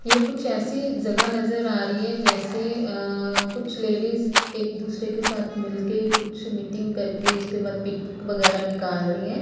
ये कुछ ऐसी जगह नजर आ रही है जैसे अ कुछ लेडीज एक दूसरे के साथ मिलके कुछ मीटिंग करके उसके बाद पिक वगेरा निकाल रही हैं ।